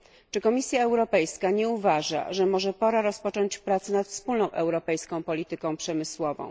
Czy Komisja Europejska nie uważa, że może pora rozpocząć prace nad wspólną europejską polityką przemysłową?